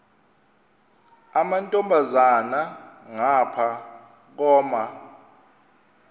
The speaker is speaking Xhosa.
amantombazana ngapha koma